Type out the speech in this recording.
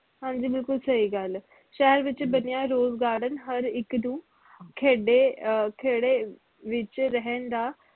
ਹਾਂਜੀ ਬਿਲਕੁਲ ਸਹੀ ਗੱਲ ਸ਼ਹਿਰ ਵਿਚ ਬਣਿਆ rose garden ਹਰ ਇਕ ਨੂੰ ਖੇਡੇ ਅਹ ਖੇੜੇ ਵਿਚ ਰਹਿਣ ਦਾ